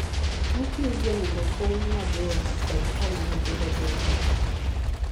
Buk yugi onego kuny mabor kod kama nyithindo thoro tuge.